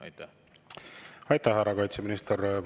Aitäh, härra kaitseminister!